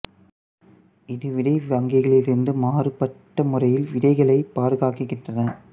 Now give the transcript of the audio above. இது விதை வங்கிகளில் இருந்து மாறுபட்ட முறையில் விதைகளைப் பாதுகாக்கின்றன